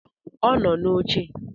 Ọ nọ n'oche